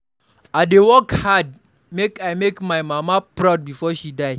I dey work hard make I make my mama proud before she die.